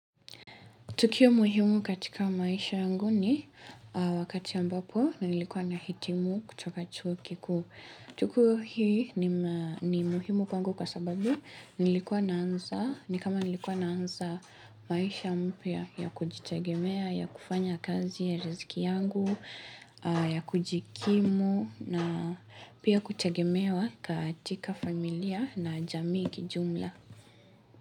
Tukio muhimu katika maisha yangu ni wakati ambapo nilikuwa na hitimu kutoka chuo kikuu. Tukio hii ni muhimu kwangu kwa sababu nilikuwa naanza nilikuwa naanza maisha mpya ya kujitagemea, ya kufanya kazi ya riziki yangu, ya kujikimu na pia kutegemewa katika familia na jamii kijumla.